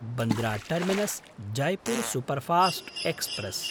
Bandra टर्मिनस्–जयपुर् superfast express